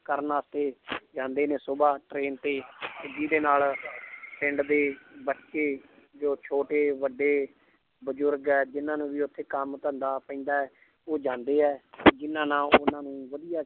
ਕਰਨ ਵਾਸਤੇ ਜਾਂਦੇ ਨੇ ਸੁਬ੍ਹਾ train ਤੇ ਤੇ ਜਿਹਦੇ ਨਾਲ ਪਿੰਡ ਦੇ ਬੱਚੇ ਜੋ ਛੋਟੇ ਵੱਡੇ ਬਜ਼ੁਰਗ ਹੈ ਜਿਹਨਾਂ ਨੂੰ ਵੀ ਉੱਥੇ ਕੰਮ ਧੰਦਾ ਪੈਂਦਾ ਹੈ ਉਹ ਜਾਂਦੇ ਹੈ ਜਿਹਨਾਂ ਨਾਲ ਉਹਨਾਂ ਨੂੰ ਵਧੀਆ